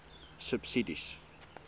subsidies